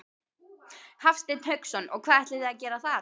Hafsteinn Hauksson: Og hvað ætlið þið að gera þar?